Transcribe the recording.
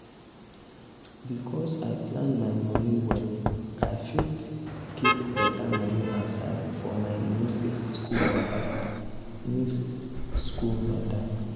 because i plan my money well i fit keep better money aside for my nieces school matter. nieces school matter.